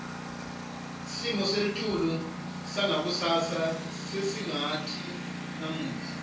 simo selitulu sangakusasa sesingasati namuhla